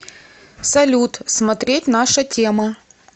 салют смотреть наша тема